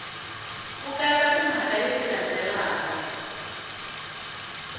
ku katsa timhaka leti landzelaka